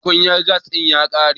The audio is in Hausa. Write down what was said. tukunyar gas din ya kare